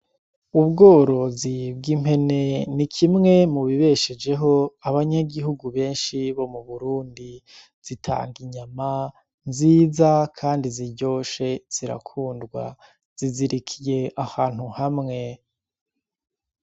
Ubworozi bw'impene ni kimwe mu bibeshejeho abanyagihugu benshi bo mu Burundi zitanga inyama nziza kandi ziryoshe zirakundwa zizirikiye ahantu hamwe .